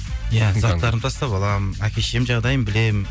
заттарымды тастап аламын әке шешемнің жағдайын білемін